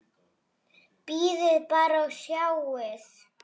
Bíðið bara og sjáið!